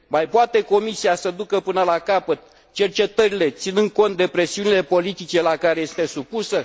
Mai poate Comisia să ducă până la capăt cercetările, ținând cont de presiunile politice la care este supusă?